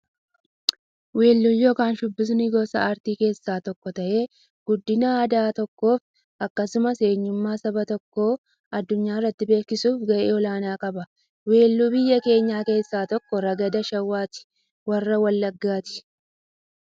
Weelluun yookin shubbifni gosa aartii keessaa tokko ta'ee, guddina aadaa biyya tokkoof akkasumas eenyummaa saba tokkoo addunyyaatti beeksisuuf gahee olaanaa qaba. Weelluun biyya keenyaa keessaa tokko ragada shawaati warra wallaggaati.